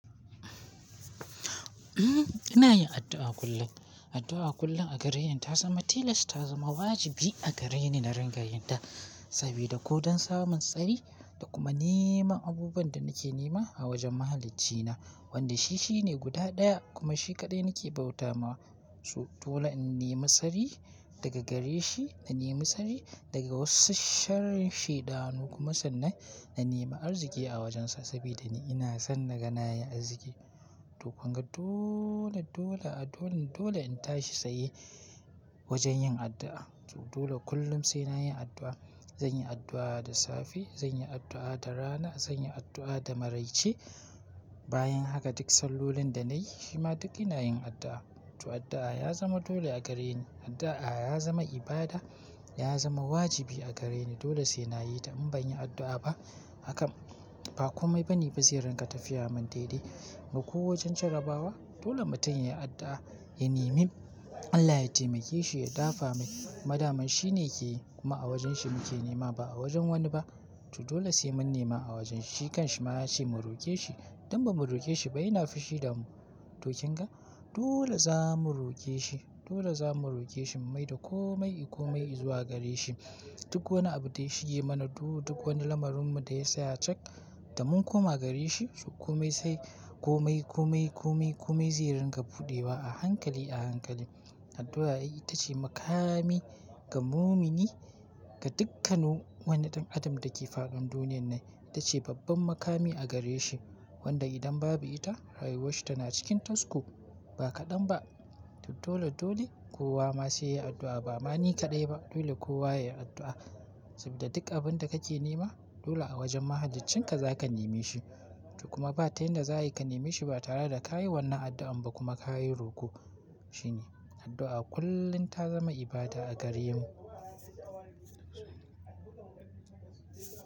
Ina yin addu'a kullum. Addu'a kullum a gare ni ta zama tilas, ta zama wajibi a gare ni na rangayenta sabida ko don samun tsari da kuma neman abubuwan da nake nema a wajen Mahaliccina, wanda shi shine guda ɗaya kuma shi kaɗai nake bauta ma. To dole in nemi tsari daga gare shi, na nemi tsari daga wasu sharan shaidanu kuma sannan na nemi arziki a wajensa saboda ni ina son naga nayi arziki. To kunga dole, dole a dole, dole in tashi tsaye wajen yin addu'a. To dole kullum sai na yi addu'a. Zanyi addu'a da safe, zanyi addu'a da rana, zanyi addu'a da maraice. Bayan haka duk sallolin da nayi shi ma duk ina yin addu'a. To addu'a ya zama dole a gare ni. Addu'a ya zama ibada, ya zama wajibi a gare ni. Dole sai nayi ta. In ban yi addu'a ba, hakan ba komai bane ba zai ringa tafiyamin daidai ba ko wajen jarabawa. Dole mutum yayi addu'a, ya nemi Allah ya taimake shi, ya dafa mai. Madaman shi ne ke yi kuma a wajen shi muke nema ba a wajen wani ba. To dole sai mun nema a wajen shi. Kan shi ma ya ce mu roke shi. Idan ba mu roke shi ba, yana fushi da mu. To kin ga? Dole za mu roke shi. Dole za mu roke shi mai da komai, komai zuwa gare shi. Duk wani abu da ya shige mana, duk wani lamarinmu da ya saya cak da mun koma gare shi. To komai sai komai, komai, komai, komai zai ringa fuɗewa a hankali a hankali. Addu'a ita ce makami ga mumini, ga dukkan wani ɗan adam da ke fadin duniyan nan. Ita ce babban makami a gare shi, wanda idan babu ita, rayuwarshi tana cikin tasku ba kaɗan ba. To dole, dole kowa ma sai yayi addu'a. Ba ma ni kaɗai ba. Dole kowa yayi addu'a saboda duk abinda kake nema dole a wajen Mahahaliccinka za ka nemi shi. To kuma ba ta yanda za ka nemi shi ba tare da ka yi wannan addu'an ba kuma ka yi ruko shi ne. Addu'a kullum ta zama ibada a gare mu.